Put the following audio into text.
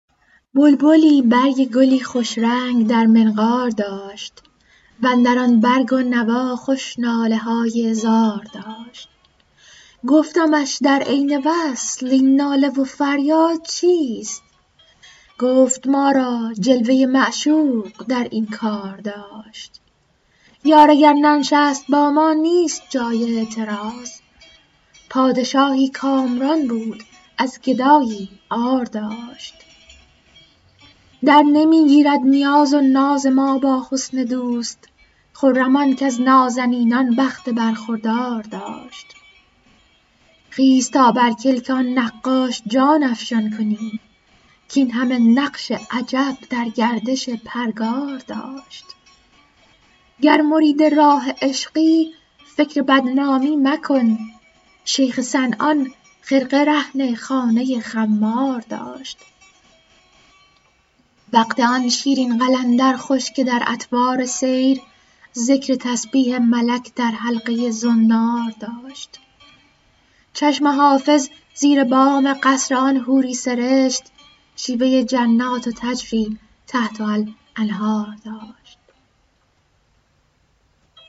بلبلی برگ گلی خوش رنگ در منقار داشت و اندر آن برگ و نوا خوش ناله های زار داشت گفتمش در عین وصل این ناله و فریاد چیست گفت ما را جلوه ی معشوق در این کار داشت یار اگر ننشست با ما نیست جای اعتراض پادشاهی کامران بود از گدایی عار داشت درنمی گیرد نیاز و ناز ما با حسن دوست خرم آن کز نازنینان بخت برخوردار داشت خیز تا بر کلک آن نقاش جان افشان کنیم کاین همه نقش عجب در گردش پرگار داشت گر مرید راه عشقی فکر بدنامی مکن شیخ صنعان خرقه رهن خانه خمار داشت وقت آن شیرین قلندر خوش که در اطوار سیر ذکر تسبیح ملک در حلقه ی زنار داشت چشم حافظ زیر بام قصر آن حوری سرشت شیوه ی جنات تجری تحتها الانهار داشت